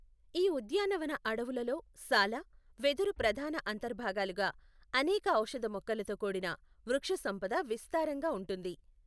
ఈ ఉద్యానవన అడవులలో సాల, వెదురు ప్రధాన అంతర్భాగాలుగా అనేక ఔషధ మొక్కలతో కూడిన వృక్షసంపద విస్తారంగా ఉంటుంది.